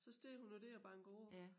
Så står hun jo dér og banker på